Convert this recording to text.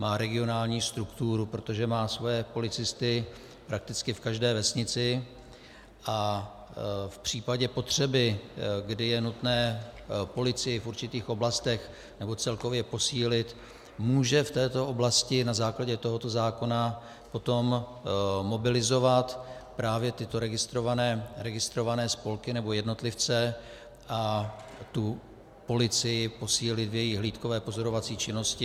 Má regionální strukturu, protože má svoje policisty prakticky v každé vesnici a v případě potřeby, kdy je nutné policii v určitých oblastech nebo celkově posílit, může v této oblasti na základě tohoto zákona potom mobilizovat právě tyto registrované spolky nebo jednotlivce a tu policii posílit v její hlídkové pozorovací činnosti.